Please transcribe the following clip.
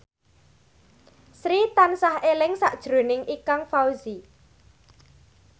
Sri tansah eling sakjroning Ikang Fawzi